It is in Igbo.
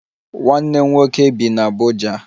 Nwanne m nwoke bi n'Abuja